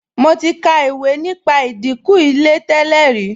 Mo ti ka ìwé nípa ìdìnkù Ilé tẹ́lẹ̀ rí